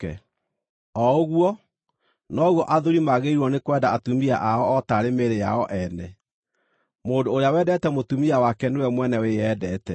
O ũguo, noguo athuuri magĩrĩirwo nĩ kwenda atumia ao o taarĩ mĩĩrĩ yao ene. Mũndũ ũrĩa wendete mũtumia wake nĩwe mwene wĩyendete.